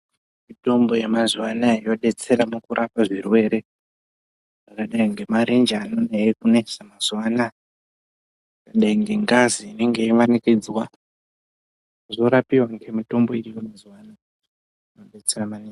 Mitombo yemazuwa ano aya yodetsera kurapwa kwe zvirwere zvakadai ngemarenje anodai kunesa mazuwa ano, nengazi inenge yeimanikidzwa zvorapiwa ngemitombo iriyo mazuwa ano.